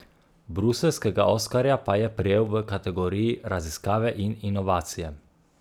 Bruseljskega oskarja pa je prejel v kategoriji Raziskave in inovacije.